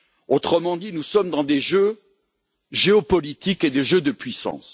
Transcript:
Autrement dit, nous sommes dans des jeux géopolitiques et des jeux de puissance.